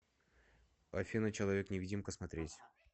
афина человек невидимка смотреть